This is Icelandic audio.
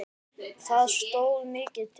Það stóð mikið til.